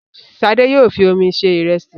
Ṣadé yóò fi omi se ìrẹsì.